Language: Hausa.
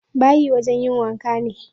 Bayi wajen yin wanka ne.